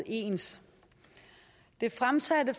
ens det fremsatte